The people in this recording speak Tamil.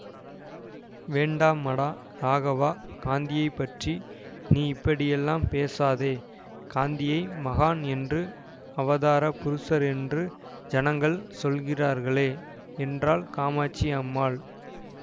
வேண்டாமடா ராகவா காந்தியை பற்றி நீ இப்படியெல்லாம் பேசாதே காந்தியை மகான் என்று அவதார புருஷர் என்று ஜனங்கள் சொல்கிறார்களே என்றாள் காமாட்சி அம்மாள்